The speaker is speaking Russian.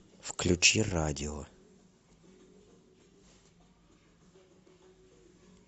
включи радио